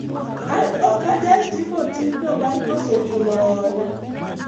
an ok anyal timo timno mar koso chulo hola